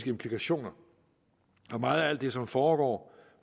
implikationer og meget af alt det som foregår